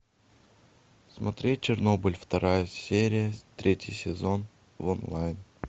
смотреть чернобыль вторая серия третий сезон в онлайн